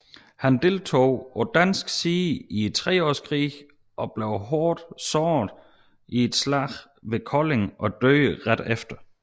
Han deltog på dansk side i Treårskrigen og blev hårdt såret i et slag ved Kolding og døde ret efter